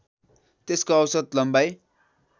त्यसको औसत लम्बाइ